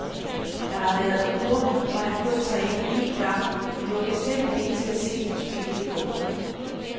Der har været uger, hvor han kun trænede en gang, men det var bestemt ikke til at se på spillet i går.